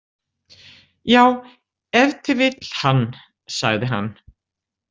Já, ef til vill hann, sagði hann.